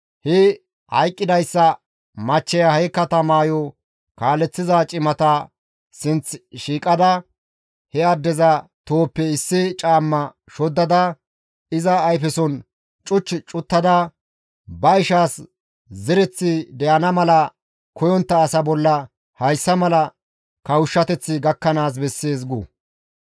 he hayqqidayssa machcheya he katamayo kaaleththiza cimata sinththi shiiqada he addeza tohoppe issi caamma shoddada iza ayfeson cuch cuttada, «Ba ishaas zereththi de7ana mala koyontta asa bolla hayssa mala kawushshateththi gakkanaas bessees» gu.